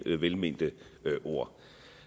velmente ord